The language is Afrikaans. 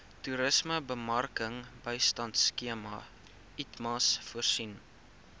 toerismebemarkingbystandskema itmas voorsien